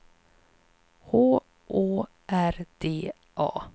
H Å R D A